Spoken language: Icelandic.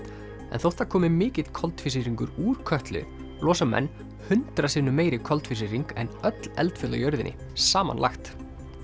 en þótt það komi mikill koltvísýringur úr Kötlu losa menn hundrað sinnum meiri koltvísýring en öll eldfjöll á jörðinni samanlagt